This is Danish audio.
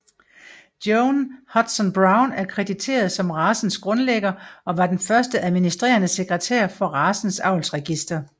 Joan Hudson Brown er krediteret som racens grundlægger og var den første administrerende sekretær for racens avlsregister